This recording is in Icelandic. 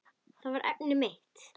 Það var efnið mitt.